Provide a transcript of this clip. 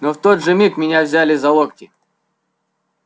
но в тот же миг меня взяли за локти